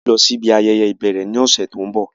À yóò lọ si ibi ayẹyẹ ibẹrẹ ni ọsẹ to nbọ.